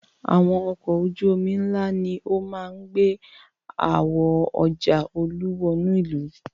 Àwọn ọkọ̀ ojú-omi ńlá ni ó máa ń gbé àwo ọjà Olú wọnú ìlú.